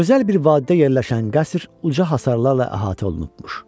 Gözəl bir vədədə yerləşən qəsr uca hasarlarla əhatə olunubmuş.